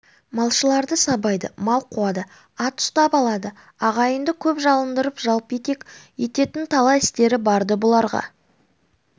малшыларды сабайды мал қуады ат ұстап алады ағайынды көп жалындырып жалпетек ететін талай істері бар-ды бұларға